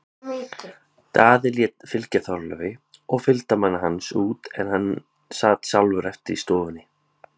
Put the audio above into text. Daði lét fylgja Þorleifi og fylgdarmanni hans út en sat sjálfur eftir í stofunni.